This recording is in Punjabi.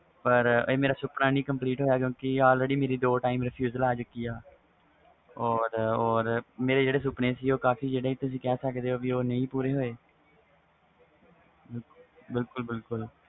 ਪਰ ਮੇਰਾ ਸੁਪਨਾ camplete ਨਹੀਂ ਹੋਇਆ ਕਿਉਕਿ ਮੇਰੀ ਦੋ time rafusal ਆ ਚੁਕੀ ਵ ਮੇਰੇ ਜਿਹੜੇ ਸੁਪਨੇ ਸੀ ਤੁਸੀ ਕਹਿ ਸਕਦੇ ਹੋ ਪੂਰੇ ਨਹੀਂ ਹੋਏ ਬਿਲਕੁਲ ਬਿਲਕੁਲ